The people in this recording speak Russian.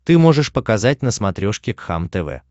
ты можешь показать на смотрешке кхлм тв